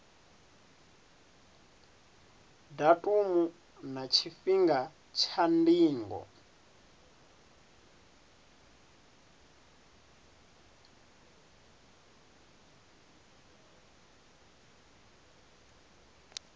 datumu na tshifhinga tsha ndingo